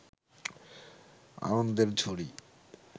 আনন্দের ঝুড়ি